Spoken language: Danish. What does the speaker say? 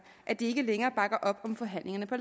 at de ikke længere bakker op om forhandlingerne på